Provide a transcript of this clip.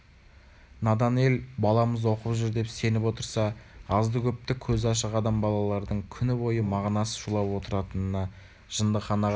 надан ел баламыз оқып жүр деп сеніп отырса азды-көпті көзі ашық адам балалардың күн бойы мағынасыз шулап отыратынын жындыханаға